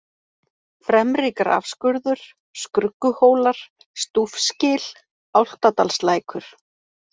Fremri-Grafskurður, Skrugguhólar, Stúfsgil, Álftadalslækur